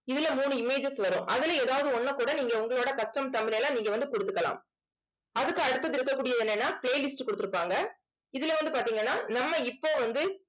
இதுல மூணு images வரும் அதிலே ஏதாவது ஒண்ணைக் கூட நீங்க உங்களோட custom thumbnail அ நீங்க வந்து கொடுத்துக்கலாம் அதுக்கு அடுத்தது இருக்கக்கூடியது என்னன்னா playlist கொடுத்திருப்பாங்க. இதுல வந்து பார்த்தீங்கன்னா நம்ம இப்போ வந்து